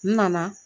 N nana